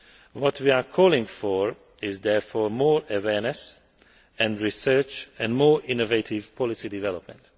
What we are calling for is therefore more awareness and research, and more innovative policy development.